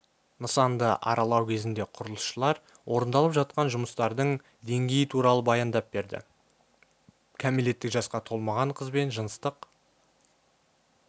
нысанды аралау кезінде құрылысшылар орындалып жатқан жұмыстардың деңгейі туралы баяндап берді кәмелеттік жасқа толмаған қызбен жыныстық